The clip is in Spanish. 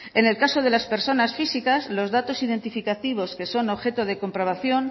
en el caso de las personas físicas los datos identificativos que son objetos de comprobación